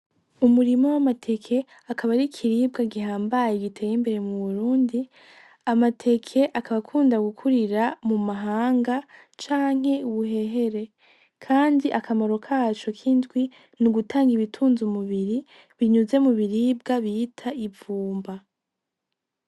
Umurima w'amateke akaba ari ikiribwa gihambaye giteye imbere mu Burundi , amateke akaba akunda gukurira mu mahanga canke i buhehere kandi akamaro kaco kindwi N’ugutanga ibitunze umubiri binyuze mu biribwa bita ivumba.